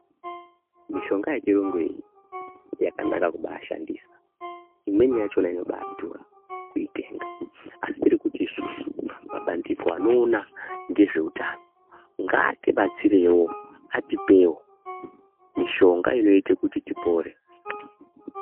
Mishonga yechirungu iyi, yakanaka kubaashandisa. Imweni yachina inobaadhura kuitenga. Asi tiri kuti isusu, mabandiko anoona ngezveutano, ngaatibatsirewo ,atipewo mishonga inoite kuti tipore.